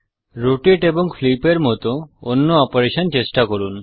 rotate এবং flip এর মত অন্য অপারেশন চেষ্টা করুন